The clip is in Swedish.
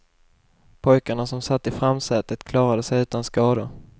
Pojkarna som satt i framsätet klarade sig utan skador.